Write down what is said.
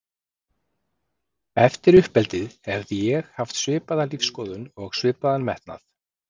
Eftir uppeldið hefði ég haft svipaða lífsskoðun og svipaðan metnað.